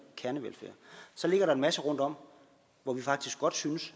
kernevelfærd så ligger der en masse rundtom hvor vi faktisk godt synes